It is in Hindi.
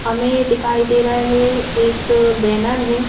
हमें दिखाई दे रहा है एक बैनर है।